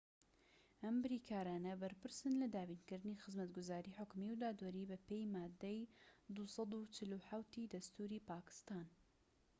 ئەم بریکارانە بەرپرسن لە دابینکردنی خزمەتگوزاری حکومی و دادوەری بە پێی مادەی 247ی دەستوری پاکستان‎